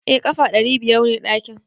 Eh ƙafa ɗari biyar ne ɗakin.